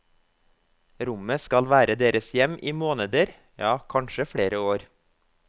Rommet skal være deres hjem i måneder, ja kanskje flere år.